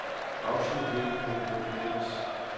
Afslut hjælp og gå til dokument.